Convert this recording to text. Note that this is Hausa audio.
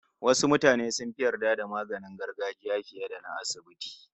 Wasu mutane sun fi yarda da magungunan gargajiya fiye da na asibiti